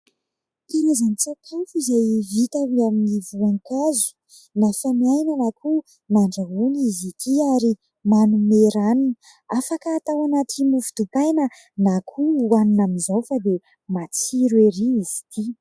Karazan-tsakafo izay vita avy amin'ny voankazo nafanaina na koa nandrahoana izy ity ary manome ranony. Afaka atao anaty mofo dipaina na koa hohanina amin'izao fa dia matsiro ery izy ity.